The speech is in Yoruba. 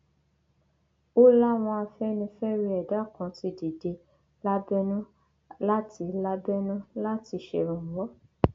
ó láwọn afẹnifẹre ẹdá kan ti dìde lábẹnú láti lábẹnú láti ṣèrànwọ